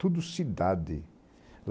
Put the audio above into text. Tudo cidade.